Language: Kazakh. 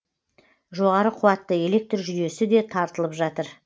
жоғары қуатты электр жүйесі де тартылып жатыр